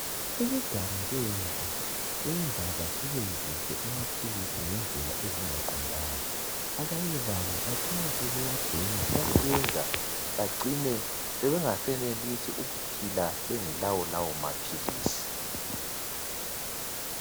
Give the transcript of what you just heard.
Ukuganga kwentsha kwenza besebenzise amaphilisi ngendlela ezingaqondanga. Abanye babo bacina sebewabhema okwenza bacina sebengasenelisi ukuphila bengelawo lawo maphilisi.